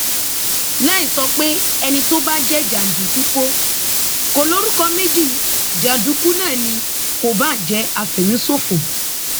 láì sọ pé ẹni tó bá jẹ jàǹdùkú kò lórúkọ méjì jàǹdùkú náà ni kó bàa jẹ àfẹmíṣòfò